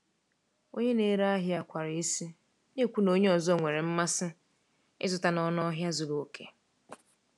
Onye na-ere ahịa kwara isi, na-ekwu na onye ọzọ nwere mmasị ịzụta n’ọnụ ahịa zuru oke.